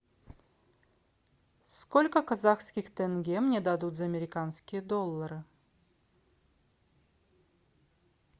сколько казахских тенге мне дадут за американские доллары